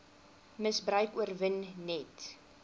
misbruik oorwin net